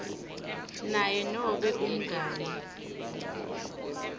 naye nobe umngani